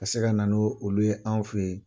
ka se ka na ni olu ye an feyi